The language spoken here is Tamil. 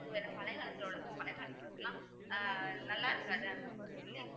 இதுல பழையகாலத்துல உள்ளது பழையகாலத்துல உள்ளதெல்லாம் அஹ் நல்லா இருக்காது அந்த மாதிரி சொல்லி